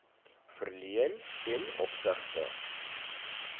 verleen ten opsigte